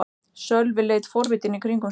Sölvi leit forvitinn í kringum sig.